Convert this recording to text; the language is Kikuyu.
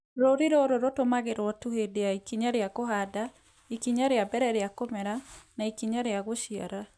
Rũũri rũrũ rũtũmagĩrũo tu hĩndĩ ya ikinya rĩa kũhanda, ikinya rĩa mbere rĩa kũmera na ikinya rĩa gũciara.